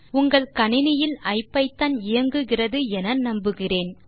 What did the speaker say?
உங்கள் கணினியில் ஐபிதான் இயங்குகிறது என்று நம்புகிறேன்